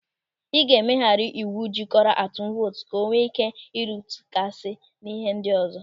Ị ga-emegharị ịwụ jikọrọ atụm vootu ka o nwee ị́ké ịrụtụgasi n'ihe ndị ọzọ.